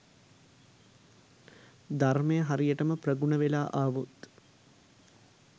ධර්මය හරියටම ප්‍රගුණ වෙලා ආවොත්